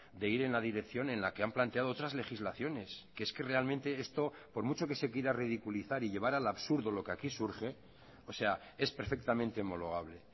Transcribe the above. de ir en la dirección en la que han planteado otras legislaciones que es que realmente esto por mucho que se quiera ridiculizar y llevar al absurdo lo que aquí surge o sea es perfectamente homologable